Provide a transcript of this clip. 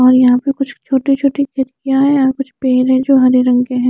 और यहाँ पर कुछ छोटे छोटे खिड़किया है और कुछ पेड़ है जो हरे रंग की है।